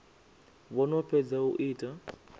vho no fhedza u ita